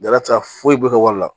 Dala ti se ka foyi bɔ ka wari la